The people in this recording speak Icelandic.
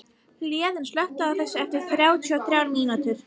Héðinn, slökktu á þessu eftir þrjátíu og þrjár mínútur.